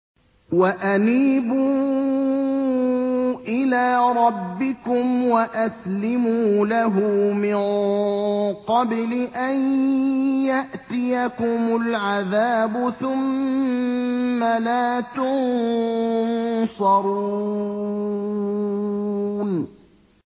وَأَنِيبُوا إِلَىٰ رَبِّكُمْ وَأَسْلِمُوا لَهُ مِن قَبْلِ أَن يَأْتِيَكُمُ الْعَذَابُ ثُمَّ لَا تُنصَرُونَ